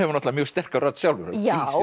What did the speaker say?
mjög sterka rödd sjálfur já